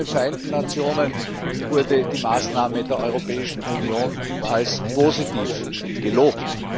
Auch von den Vereinten Nationen wurden die Maßnahmen der Europäischen Union als positiv gelobt.